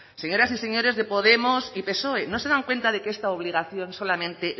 señoras y señores de podemos y psoe no se dan cuenta de que esta obligación solamente